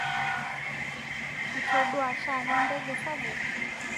Ituduoa shaake ndege sapuk